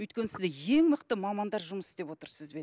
өйткені сіз ең мықты мамандар жұмыс істеп отыр сізбен